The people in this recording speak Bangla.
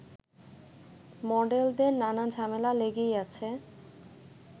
মডেলদের নানা ঝামেলা লেগেই আছে